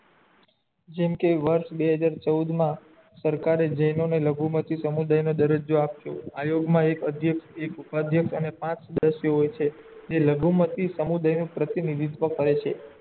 જેમ કે વર્ષ બે હજાર ચૌદમાં સરકારે જેને લઘુ મતી સમુદાય નો દ્રજીયો આપ્યો આયોગ મા એક અધ્યક્ષ એક ઉપાદીયક્ષ અને પાંચ સદસ્ય હોય છે જે લઘુમતી સમુદાય નો પ્રતિનિધીત્વ કરે છે